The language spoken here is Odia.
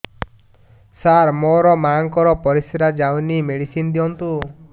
ସାର ମୋର ମାଆଙ୍କର ପରିସ୍ରା ଯାଉନି ମେଡିସିନ ଦିଅନ୍ତୁ